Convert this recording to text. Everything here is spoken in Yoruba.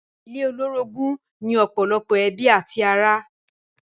Ilé olórogún ni ọ̀pọ̀lọpọ̀ ẹbí àti ará.